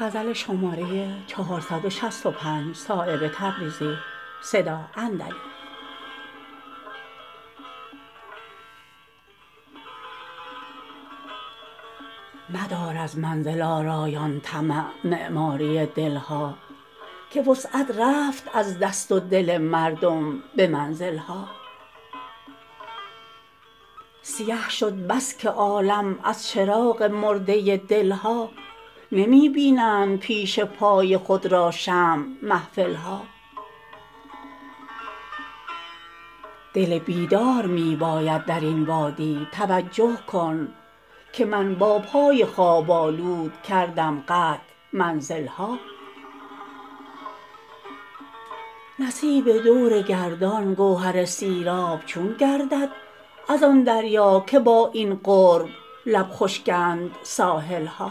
مدار از منزل آرایان طمع معماری دل ها که وسعت رفت از دست و دل مردم به منزل ها سیه شد بس که عالم از چراغ مرده دل ها نمی بینند پیش پای خود را شمع محفل ها دل بیدار می باید درین وادی توجه کن که من با پای خواب آلود کردم قطع منزل ها نصیب دور گردان گوهر سیراب چون گردد ازآن دریا که با این قرب لب خشکند ساحل ها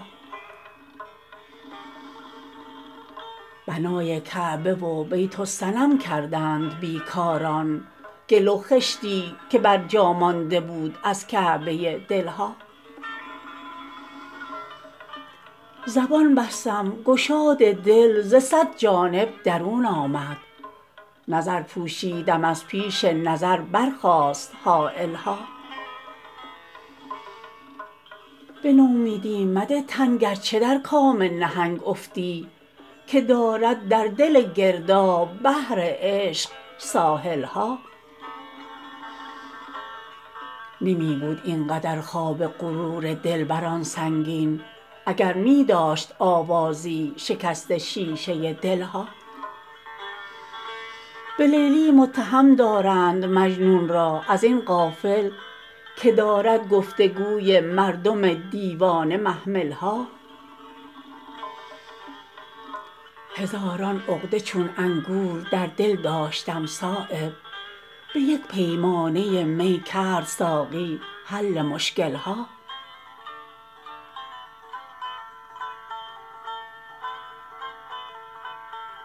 بنای کعبه و بیت الصنم کردند بیکاران گل و خشتی که بر جا مانده بود از کعبه دل ها زبان بستم گشاد دل ز صد جانب درون آمد نظر پوشیدم از پیش نظر برخاست حایل ها به نومیدی مده تن گرچه در کام نهنگ افتی که دارد در دل گرداب بحر عشق ساحل ها نمی بود این قدر خواب غرور دلبران سنگین اگر می داشت آوازی شکست شیشه دل ها به لیلی متهم دارند مجنون را ازین غافل که دارد گفتگوی مردم دیوانه محمل ها هزاران عقده چون انگور در دل داشتم صایب به یک پیمانه می کرد ساقی حل مشکل ها